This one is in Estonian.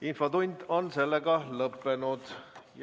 Infotund on lõppenud ja järgneb saalikutsung.